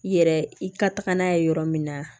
I yɛrɛ i ka taga n'a ye yɔrɔ min na